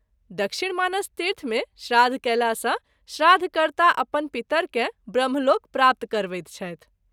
दक्षिण मानस तीर्थ मे श्राद्ध कएला सँ श्राद्ध कर्ता अपन पितर के ब्रह्मलोक प्राप्त करबैत छथि।